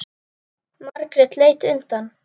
Margrét leit undan.